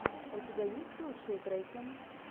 у тебя есть лучшие треки